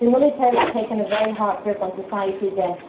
The military has taken a very hard grip on society again.